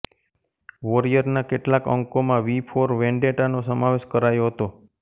વૉરિઅરના કેટલાક અંકોમાં V for Vendetta નો સમાવેશ કરાયો હતો